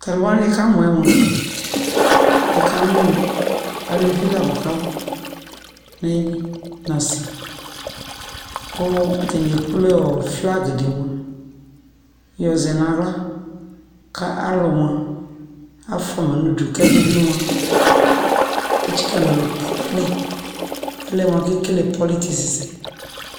talu wanɩ mikamu aluvi la nia mu kuab neyili na a ku atanɩ ekple wɔ flaga yɛ ka lu fuama nudu ku ɛdibɩ moa etsɩka nu alɔ kpenu alɛa alu wani beku ekel politique sɛ